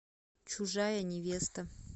чужая невеста